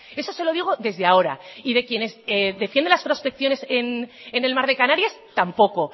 eso se lo digo desde ahora y de quienes defienden las prospecciones en el mar de canarias tampoco